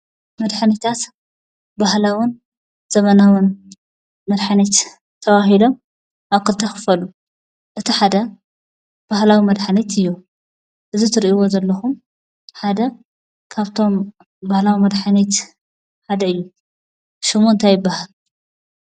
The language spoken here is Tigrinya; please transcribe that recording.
መድሓኒታት ባህላዉን ዘበናዉን መድሓኒት ተባሂሎም ኣብ ክልተ ይኽፈሉ። እቲ ሓደ ባህላዊ መድሓኒት እዩ። እዚ እትርእይዎ ዘለኹም ሓደ ካፍቶም ባህላዊ መድሓኒት ሓደ እዩ። ሽሙ እንታይ ይብሃል?